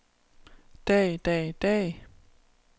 dag dag dag